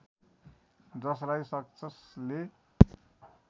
जसलाई सक्छस् ले